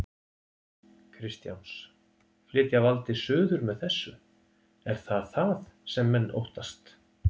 Kristjáns: Flytja valdið suður með þessu, er það það sem menn óttast?